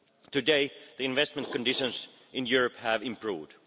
Today, the investment conditions in Europe have improved.